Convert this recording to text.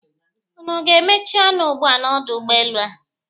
Unu ga-emechi ọnụ ugbua n'ọdụ ụgbọelu a!